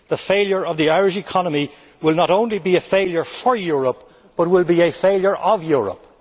The failure of the Irish economy would not only be a failure for Europe, but would be a failure of Europe.